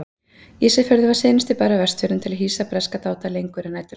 Ísafjörður var seinasti bær á Vestfjörðum til að hýsa breska dáta lengur en næturlangt.